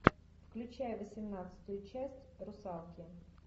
включай восемнадцатую часть русалки